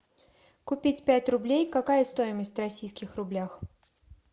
купить пять рублей какая стоимость в российских рублях